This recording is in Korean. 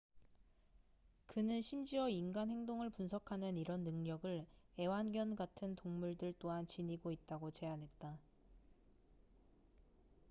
그는 심지어 인간 행동을 분석하는 이런 능력을 애완견 같은 동물들 또한 지니고 있다고 제안했다